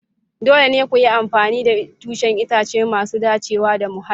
Dole ne ku yi amfani da tushen itace masu dacewa da muhalli.